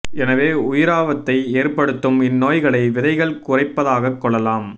எனவே உயிராபத்தை ஏற்படுத்தும் இந்நோய்களை விதைகள் குறைப்பதாகக் கொள்ளலாம்